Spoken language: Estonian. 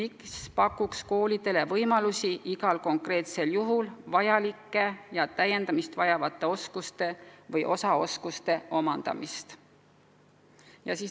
See pakub koolide personalile võimalusi omandada konkreetsete juhtumite lahendamiseks vajalikke oskusi.